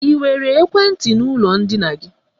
Ị nwere ekwentị n'ụlọ ndina gị?